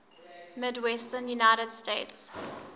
midwestern united states